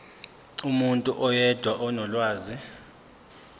umuntu oyedwa onolwazi